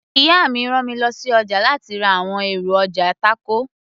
ìyá mi rán mi lọ sí ọjà láti ra àwọn èròjà tákò